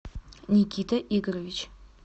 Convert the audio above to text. никита игоревич